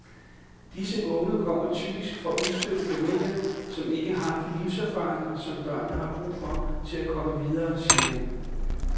Disse unge kommer typisk fra udstødte familier, som ikke har de livserfaringer, som børnene har brug for til at komme videre, siger hun.